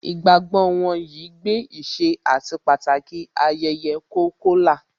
Ìgbàgbọ́ wọn yìí gbé ìṣe àti Pàtàki ayẹyẹ Kolkola